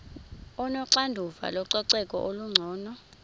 onoxanduva lococeko olungcono